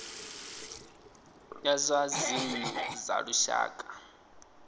ya zwa dzinnu dza lushaka